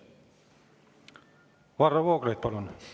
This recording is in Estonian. Varro Vooglaid, palun!